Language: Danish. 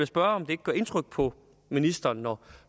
spørge om det ikke gør indtryk på ministeren når